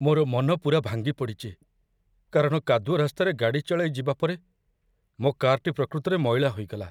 ମୋର ମନ ପୂରା ଭାଙ୍ଗିପଡ଼ିଚି, କାରଣ କାଦୁଅ ରାସ୍ତାରେ ଗାଡ଼ି ଚଳାଇ ଯିବା ପରେ ମୋ କାର୍‌ଟି ପ୍ରକୃତରେ ମଇଳା ହୋଇଗଲା।